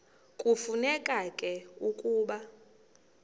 kufuneka ke ukuba